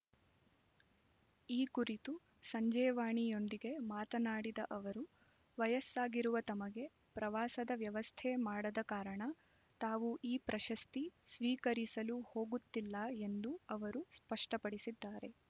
ಈ ಕುರಿತು ಸಂಜೆವಾಣಿ ಯೊಂದಿಗೆ ಮಾತನಾಡಿದ ಅವರು ವಯಸ್ಸಾಗಿರುವ ತಮಗೆ ಪ್ರವಾಸದ ವ್ಯವಸ್ಥೆ ಮಾಡದ ಕಾರಣ ತಾವು ಈ ಪ್ರಶಸ್ತಿ ಸ್ವೀಕರಿಸಲು ಹೋಗುತ್ತಿಲ್ಲ ಎಂದು ಅವರು ಸ್ಪಷ್ಟಪಡಿಸಿದ್ದಾರೆ